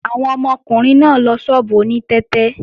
Àwọn ọmọkùnrin náà ń lọ ṣọ́ọ̀bù oní tẹ́tẹ́